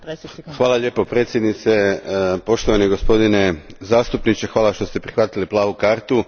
Gospođo predsjednice, poštovani gospodine zastupniče, hvala što ste prihvatili plavu kartu.